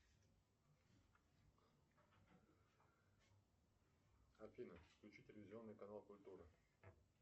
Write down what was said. афина включи телевизионный канал культура